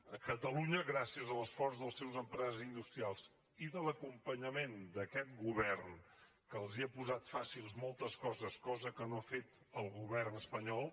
a catalunya gràcies a l’esforç de les seves empreses industrials i de l’acompanyament d’aquest govern que els ha posat fàcils moltes coses cosa que no ha fet el govern espanyol